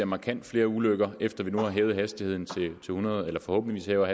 markant flere ulykker efter at vi nu har hævet hastigheden eller forhåbentlig hæver